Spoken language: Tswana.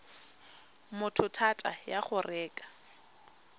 motho thata ya go reka